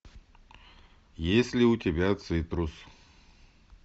есть ли у тебя цитрус